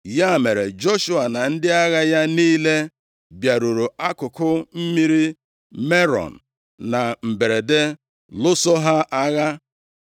Ya mere, Joshua na ndị agha ya niile bịaruru akụkụ mmiri Merọm na mberede, lụso ha agha.